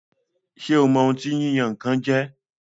Ṣé o mọ ohun tí yíyan-nǹkan jẹ́?